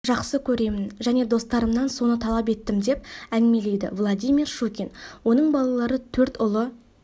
жақсы көремін және достарымнан соны талап етім деп әңгімелейді владимир щукин оның балалары төрт ұлы